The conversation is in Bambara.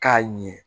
K'a ɲɛ